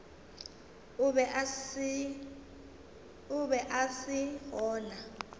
o be a se gona